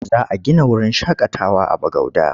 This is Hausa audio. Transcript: Za a gina wurin shaƙatawa a Bagauda.